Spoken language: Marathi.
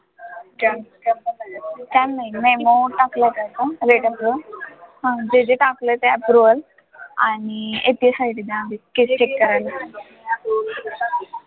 ते जे टाकलं ते approval आणि अं FSI त्याच्यामध्ये ते check कराय